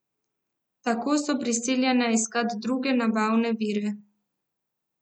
Tako so prisiljena iskati druge nabavne vire.